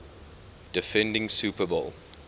defending super bowl